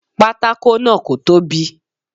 Pátákó náà kò tóbi.